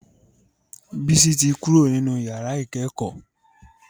Bisi tí Kúrò nínú yàrá ikẹkọ.